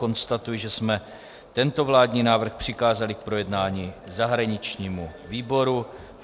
Konstatuji, že jsme tento vládní návrh přikázali k projednání zahraničnímu výboru.